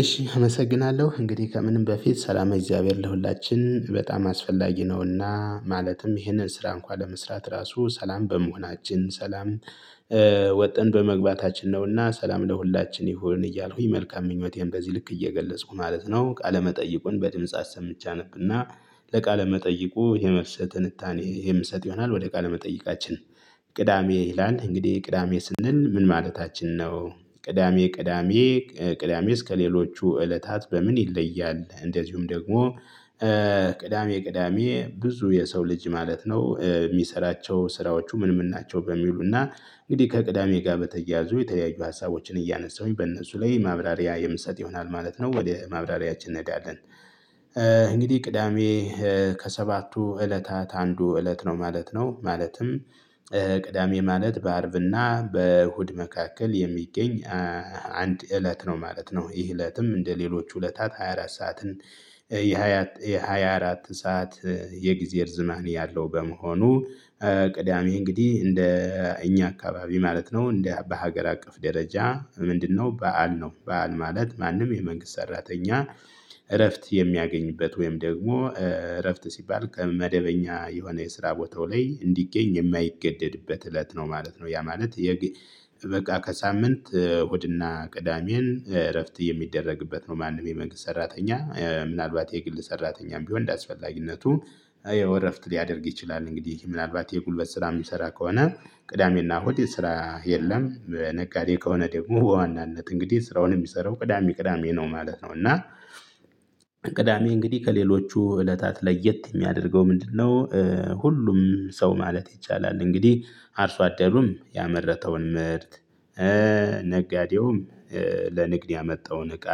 እሺ አመሰግናለሁ እንግዲህ ከምንም በፊት ሰላማዊ እግዚአብሔር ለሁላችን በጣም አስፈላጊ ነውና ማለትም ይሄንን ስራ እንኳን ለመስራት ራሱ ሰላም በመሆናችን ሰላም። ወጥን በመግባታችን ነውና ሰላም ለሁላችን ይሁን እያልኩኝ መልካም ምኞቴን በዚህ ልክ እየገለጽኩ ማለት ነው። ቃለመጠይቁን በድምጽ አሰምቼ አነብና ለቃለመጠይቁ የመልስ ትንታኔ የምሰጥ ይሆናል። ወደ ቃለመጠይቃችን። ቅዳሜ ይላን እንግዲህ ቅዳሜ ስንል ምን ማለታችን ነው? ቅዳሜ ቅዳሜ ቅዳሜ እስከሌሎቹ እለታት በምን ይለያል እንደዚሁም ደግሞ። ቅዳሜ ቅዳሜ ብዙ የሰው ልጅ ማለት ነው የሚሰራቸው ስራዎቹ ምንም ናቸው በሚሉና። እንግዲህ ከቅዳሜ ጋር በተያያዙ የተለያዩ ሀሳቦችን እያነሳሁኝ በእነሱ ላይ ማብራሪያ የምሰጥ ይሆናል ማለት ነው። ወደ ማብራሪያችን እንሄዳለን። እንግዲህ ቅዳሜ ከሰባቱ እለታት አንዱ እለት ነው ማለት ነው ማለትም። ቅዳሜ ማለት በአርብና በእሁድ መካከል የሚገኝ። አንድ እለት ነው ማለት ነው ይህ እለትም እንደሌሎች ሁለታት 24 ሰዓትን። የ24 ሰዓት የጊዜ ርዝማኒ ያለው በመሆኑ። ቅዳሜ እንግዲህ እንደ እኛ አካባቢ ማለት ነው እንደ በሀገር አቀፍ ደረጃ ምንድነው? በዓል ነው በዓል ማለት ማንም የመንግስት ሰራተኛ። እረፍት የሚያገኝበት ወይም ደግሞ እረፍት ሲባል ከመደበኛ የሆነ የስራ ቦታው ላይ እንዲገኝ የማይገደድበት እለት ነው ማለት ነው። ያ ማለት። በቃ ከሳምንት እሁድና ቅዳሜን እረፍት የሚደረግበት ነው። ማንም የመንግስት ሰራተኛ ምናልባት የግል ሰራተኛም ቢሆን እንደአስፈላጊነቱ የእረፍት ሊያደርግ ይችላል። እንግዲህ ምናልባት የጉልበት ስራ የሚሰራ ከሆነ ቅዳሜና እሁድ የስራ የለም። በነጋዴ ከሆነ ደግሞ በዋናነት እንግዲህ ስራውን የሚሰራው ቅዳሜ ቅዳሜ ነው ማለት ነው። እና ቅዳሜ እንግዲህ ከሌሎቹ እለታት ለየት የሚያደርገው ምንድነው? ሁሉም ሰው ማለት ይቻላል እንግዲህ አርሶ አደሩም ያመረተውን ምርት ነጋዴውም ለንግድ ያመጣውን እቃ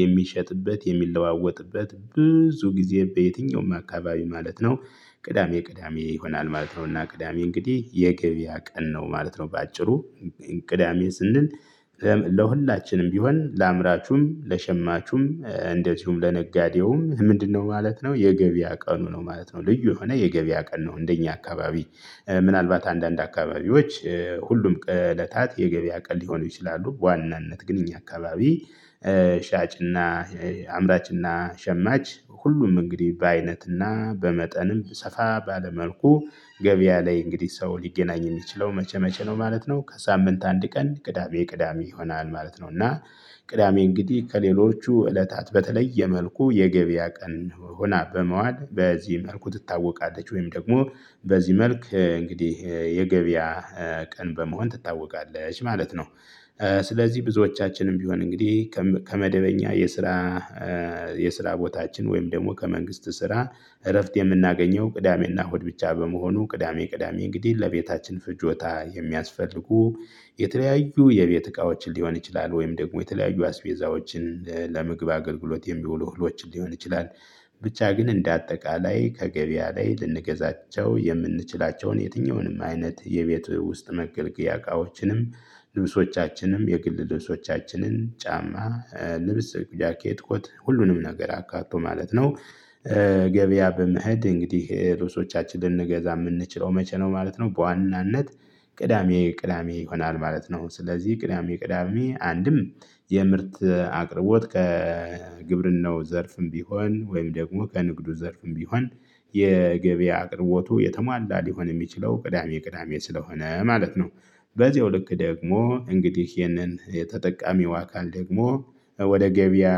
የሚሸጥበት የሚለዋወጥበት ብዙ ጊዜ በየትኛውም አካባቢ ማለት ነው። ቅዳሜ ቅዳሜ ይሆናል ማለት ነው። እና ቅዳሜ እንግዲህ የገበያ ቀን ነው ማለት ነው። በአጭሩቅዳሜ ስንል። ለሁላችንም ቢሆን ለአምራቹም ለሸማቹም እንደዚሁም ለነጋዴውም ምንድነው ማለት ነው የገበያ ቀኑ ነው ማለት ነው። ልዩ የሆነ የገበያ ቀን ነው። እንደኛ አካባቢ ምናልባት አንዳንድ አካባቢዎች ሁሉም እለታት የገበያ ቀን ሊሆኑ ይችላሉ። በዋናነት ግን እኛ አካባቢ። ሻጭና አምራችና ሸማች ሁሉም እንግዲህ በአይነትና በመጠንም ሰፋ ባለ መልኩ ገበያ ላይ እንግዲህ ሰው ሊገናኝ የሚችለው መቼ መቼ ነው ማለት ነው? ከሳምንት አንድ ቀን ቅዳሜ ቅዳሜ ይሆናል ማለት ነው። እና ቅዳሜ እንግዲህ ከሌሎቹ እለታት በተለየ መልኩ የገበያ ቀን ሆና በመዋል በዚህ መልኩ ትታወቃለች። ወይም ደግሞ በዚህ መልክ እንግዲህ የገበያ ቀን በመሆን ትታወቃለች ማለት ነው። ስለዚህ ብዙዎቻችንም ቢሆን እንግዲህ ከመደበኛ የስራ የስራ ቦታችን ወይም ደግሞ ከመንግስት ስራ እረፍት የምናገኘው ቅዳሜ እና እሁድ ብቻ በመሆኑ ቅዳሜ ቅዳሜ እንግዲህ ለቤታችን ፍጆታ የሚያስፈልጉ የተለያዩ የቤት እቃዎችን ሊሆን ይችላል። ወይም ደግሞ የተለያዩ አስቤዛዎችን ለምግብ አገልግሎት የሚውሉ ህሎችን ሊሆን ይችላል። ብቻ ግን እንደ አጠቃላይ ከገበያ ላይ ልንገዛቸው የምንችላቸውን የትኛውንም አይነት የቤት ውስጥ መገልገያ እቃዎችንም ልብሶቻችንም የግል ልብሶቻችንን ጫማ ልብስ ጃኬት ኮት ሁሉንም ነገር አካቶ ማለት ነው። ገበያ በመሄድ እንግዲህ ልብሶቻችን ልንገዛ የምንችለው መቼ ነው ማለት ነው? በዋናነት ቅዳሜ ቅዳሜ ይሆናል። ማለት ነው ስለዚህ ቅዳሜ ቅዳሜ አንድም የምርት አቅርቦት ከግብርናው ዘርፍም ቢሆን ወይም ደግሞ ከንግዱ ዘርፍም ቢሆን የገበያ አቅርቦቱ የተሟላ ሊሆን የሚችለው ቅዳሜ ቅዳሜ ስለሆነ ማለት ነው። በዚህው ልክ ደግሞ እንግዲህ ይህንን ተጠቃሚው አካል ደግሞ ወደ ገበያ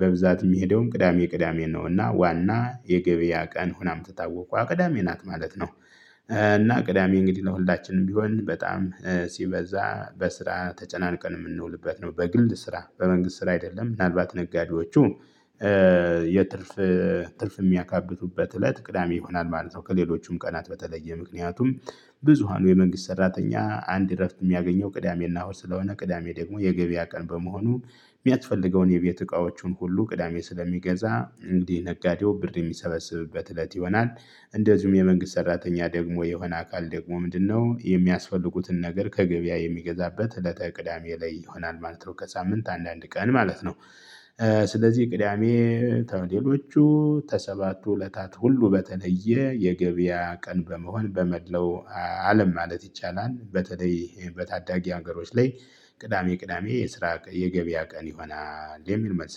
በብዛት የሚሄደውን ቅዳሜ ቅዳሜ ነውና ዋና የገበያ ቀን ሆናም የምትታወቀዋ ቅዳሜ ናት ማለት ነው። እና ቅዳሜ እንግዲህ ለወልዳችንም ቢሆን በጣም ሲበዛ በስራ ተጨናንቀን የምንውልበት ነው። በግልድ ስራ በመንግስት ስራ አይደለም። ምናልባት ነጋዴዎቹ። ስለዚህ ብዙዎቻችንም ቢሆን እንግዲህ ከመደበኛ የስራ የስራ ቦታችን ወይም ደግሞ ከመንግስት ስራ እረፍት የምናገኘው ቅዳሜና እሁድ። ብቻ በመሆኑ። ቅዳሜ ቅዳሜ እንግዲህ ለቤታችን ፍጆታ የሚያስፈልጉ እንደዚሁም የመንግስት ሰራተኛ ደግሞ የሆነ አካል ደግሞ ምንድነው የሚያስፈልጉትን ነገር ከገበያ የሚገዛበት እለተ ቅዳሜ ላይ ይሆናል ማለት ነው። ከሳምንት አንዳንድ ቀን ማለት ነው። ስለዚህ ቅዳሜ ተሌሎቹ ተሰባቱ እለታት ሁሉ በተለየ የገበያ ቀን በመሆን በመለው አለም ማለት ይቻላል። በተለይ በታዳጊ ሀገሮች ላይ ቅዳሜ ቅዳሜ የስራ ቀ የገበያ ቀን ይሆናል የሚል መልስ